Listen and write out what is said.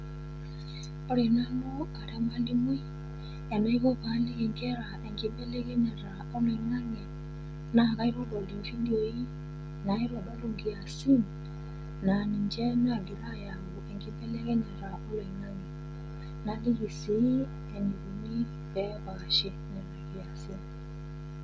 Ore nanu ara emwalimui enaiko paaliki inkera enkibelekenyata oloing'ang'e naa kaitodol ividioi naitodolu inkiasin naa ninche nagira ayau enkibelekenyata oloing'ang'e naliki sii eneikuni peepaashi nena kiasin.